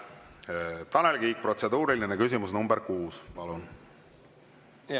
Tanel Kiik, protseduuriline küsimus nr 6, palun!